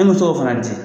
An bɛ to k'o fana di